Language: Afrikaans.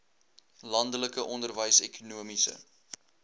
landelike onderwys ekonomiese